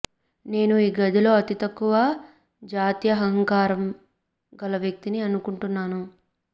నేను ఈ గదిలో అతి తక్కువ జాత్యహంకారం గల వ్యక్తిని అనుకుంటున్నాను